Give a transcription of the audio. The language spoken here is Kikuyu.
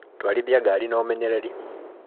Twarithia ngaari na ũmenyereri.